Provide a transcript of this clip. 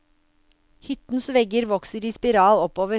Hyttens vegger vokser i spiral oppover.